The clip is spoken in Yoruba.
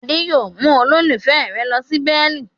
Adé yóò mú olólùfẹ́ rẹ̀ lọ sí Berlin.